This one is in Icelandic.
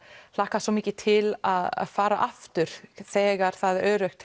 hlakkaði svo mikið til að fara aftur þegar það er öruggt